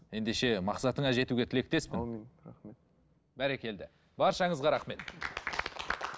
ендеше мақсатыңа жетуге тілектеспін аумин рахмет бәрекелді баршаңызға рахмет